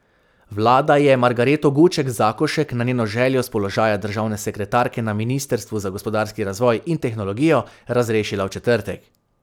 Vlada je Margareto Guček Zakošek na njeno željo s položaja državne sekretarke na ministrstvu za gospodarski razvoj in tehnologijo razrešila v četrtek.